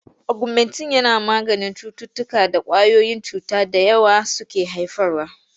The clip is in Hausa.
Ogumentin yana maganin cututtukan da ƙwayoyin cuta da yawa suke haifarwa.